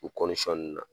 U nun na